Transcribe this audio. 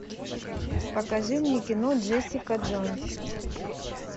покажи мне кино джессика джонс